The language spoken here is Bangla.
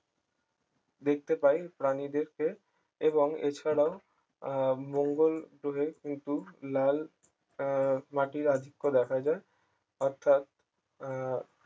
দেখতে পায় প্রাণীদেরকে এবং এছাড়াও আহ মঙ্গল গ্রহে কিন্তু লাল আহ মাটির অ্যাধিক্য দেখা যায় অর্থাৎ আহ